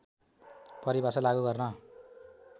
परिभाषा लागु गर्न